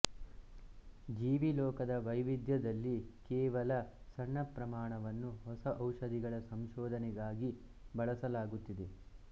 ಜೀವಿ ಲೋಕದ ವೈವಿಧ್ಯದಲ್ಲಿ ಕೇವಲ ಸಣ್ಣ ಪ್ರಮಾಣವನ್ನು ಹೊಸ ಔಷಧಗಳ ಸಂಶೋಧನೆಗಾಗಿ ಬಳಸಲಾಗುತ್ತಿದೆ